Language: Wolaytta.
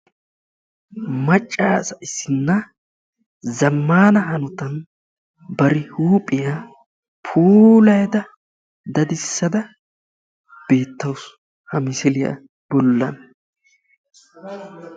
macca asa issinna zammaana hanotan bari huuphiya puulayada dadissada beettawusu ha misiliya bollan.